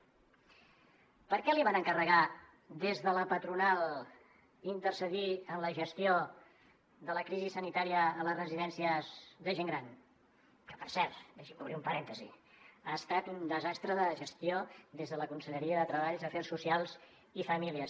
per què li van encarregar des de la patronal intercedir en la gestió de la crisi sanitària a les residències de gent gran que per cert deixi’m obrir un parèntesi ha estat un desastre de gestió des de la conselleria de treball afers socials i famílies